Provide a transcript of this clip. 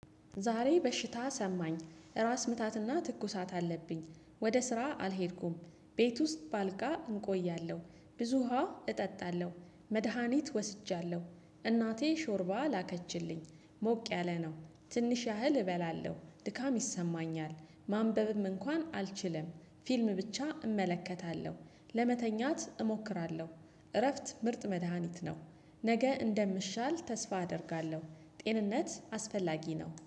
ዛሬ በሽታ ሰማኝ ራስ ምታትና ትኩሳት አለብኝ። ወደ ስራ አልሄድኩም። ቤት ውስጥ ባልጋ እንቆያለሁ። ብዙ ውሃ እጠጣለሁ። መድሃኒት ወስጃለሁ። እናቴ ሾርባ ላከችልኝ። ሞቅ ያለ ነው። ትንሽ ያህል እበላለሁ ድካም ይሰማኛል። ማንበብም እንኳን አልችልም። ፊልም ብቻ እመለከታለሁ። ለመተኛት እሞክራለሁ። እረፍት ምርጥ መድሃኒት ነው። ነገ እንደምሻል ተስፋ አደርጋለሁ። ጤንነት አስፈላጊ ነው